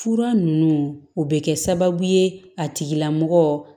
Fura ninnu o bɛ kɛ sababu ye a tigilamɔgɔ